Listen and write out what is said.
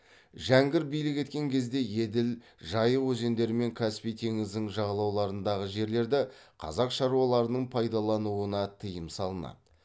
жәңгір билік еткен кезде еділ жайы өзендері мен каспий теңізінің жағалауындағы жерлерді қазақ шаруаларының пайдалануына тиым салынады